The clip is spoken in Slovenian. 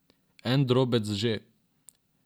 En drobec že.